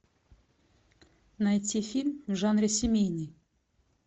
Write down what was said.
найти фильм в жанре семейный